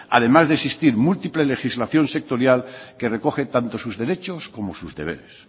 además de existir múltiple legislación sectorial que recoge tanto sus derechos como sus deberes